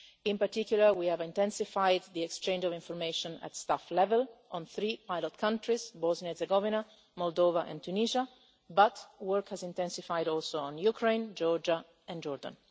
In particular, we have intensified the exchange of information at staff level on three pilot countries Bosnia and Herzegovina, Moldova and Tunisia, but work has also intensified on Ukraine, Georgia and Jordan.